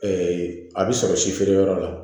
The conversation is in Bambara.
a bɛ sɔrɔ si feereyɔrɔ la